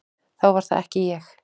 Þá var það ekki ég!